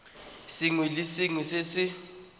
sengwe le sengwe se se